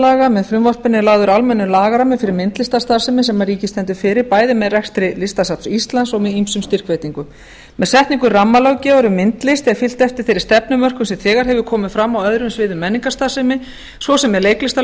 myndlistarlaga með frumvarpinu er lagður almennur lagarammi fyrir myndlistarstarfsemi sem ríkið stendur fyrir bæði með rekstri listasafns íslands og með ýmsum styrkveitingum með setningu rammalöggjafar um myndlist er fylgt eftir þeirri stefnumörkun sem þegar hefur komið fram á öðrum sviðum menningarstarfsemi svo sem